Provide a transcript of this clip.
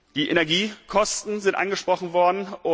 Die Energiekosten sind angesprochen worden.